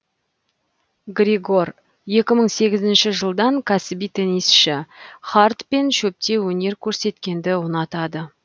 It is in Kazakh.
григор екі мың сегізінші жылдан кәсіби теннисшы хард пен шөпте өнер көрсеткенді ұнатады